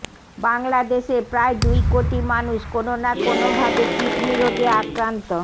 বাংলাদেশে প্রায় দুই কোটি মানুষ কোনো না কোনোভাবে কিডনি রোগে আক্রান্ত